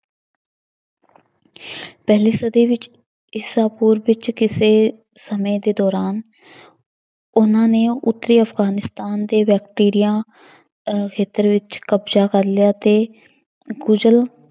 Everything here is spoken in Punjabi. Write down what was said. ਪਹਿਲੀ ਸਦੀ ਵਿੱਚ ਈਸਾ ਪੂਰਵ ਵਿੱਚ ਕਿਸੇ ਸਮੇਂ ਦੇ ਦੌਰਾਨ ਉਹਨਾਂ ਨੇ ਉੱਤਰੀ ਅਫਗਾਨਿਸਤਾਨ ਦੇ ਵੈਕਟੀਰੀਆ ਅਹ ਖੇਤਰ ਵਿੱਚ ਕਬਜ਼ਾ ਕਰ ਲਿਆ ਅਤੇ ਕੁਸ਼ਲ